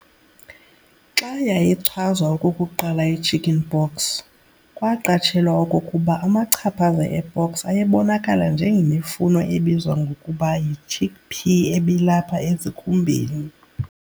Xa yayichazwa okokuqala ichicken pox, kwaqatshelwa okokuba amachaphaza epox ayebonakala njengemifuno ebizwa ngokuba yichickpea ebilapha esikhumbeni.